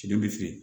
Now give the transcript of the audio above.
Den bɛ feere